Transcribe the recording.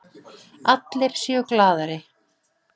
Allir séu glaðari.